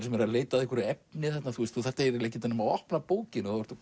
sem eru að leita að efni þú þarft ekkert nema að opna bókina þá ertu